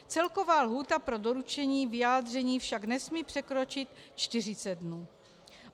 Celková lhůta pro doručení vyjádření však nesmí překročit 40 dnů.